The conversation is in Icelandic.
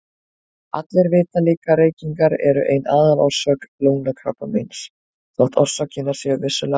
Allir vita líka að reykingar eru ein aðalorsök lungnakrabbameins þótt orsakirnar séu vissulega fleiri.